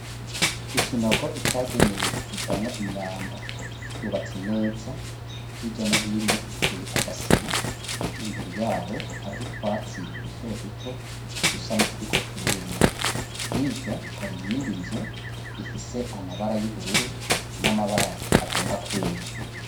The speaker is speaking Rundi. Ikinogo cagenewe kujamwo imyanda, cubutse neza, hirya no hino giteye agasima. Imbere yaho hari utwatsi dutoduto usanga turiko turuma. Hirya hari iyindi nzu ifise amabara y'ubururu n'amabara agomba kwera.